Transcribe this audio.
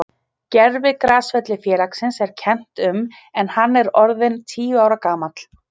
Gervigrasvelli félagsins er kennt um en hann er orðinn tíu ára gamall.